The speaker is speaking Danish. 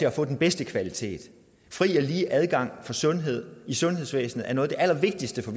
at få den bedste kvalitet fri og lige adgang til sundhed i sundhedsvæsenet er noget af det allervigtigste for